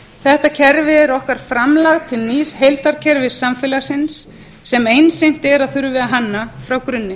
þetta kerfi er okkar framlag til nýs heildarkerfis samfélagsins sem einsýnt er að þurfi að hanna frá grunni